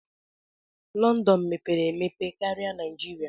London mepere emepe karia Naijiria.